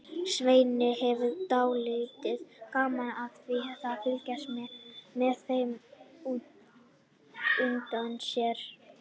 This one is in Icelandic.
Svenni hefur dálítið gaman af því að fylgjast með þeim út undan sér.